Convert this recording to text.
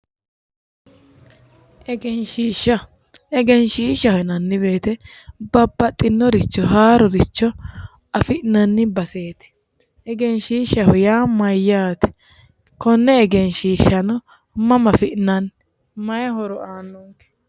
egenshiishsha egenshiishshaho yineemmo wote babbaxinoricho haaroricho afi'nanni baseeti egenshiishshaho yaa mayyaate? konne egenshiishshano mama afi'nanni? mayi horo aannonke?